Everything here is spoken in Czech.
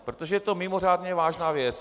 Protože je to mimořádně vážná věc...